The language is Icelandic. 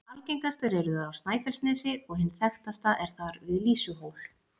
Algengastar eru þær á Snæfellsnesi, og hin þekktasta er þar við Lýsuhól.